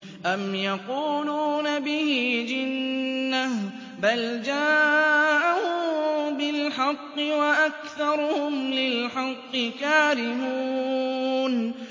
أَمْ يَقُولُونَ بِهِ جِنَّةٌ ۚ بَلْ جَاءَهُم بِالْحَقِّ وَأَكْثَرُهُمْ لِلْحَقِّ كَارِهُونَ